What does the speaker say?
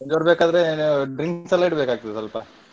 ಗಡದ್ದ್ ಬೇಕಾದ್ರೆ drinks ಎಲ್ಲ ಇಡಬೇಕಾಗ್ತದೆ ಸ್ವಲ್ಪ.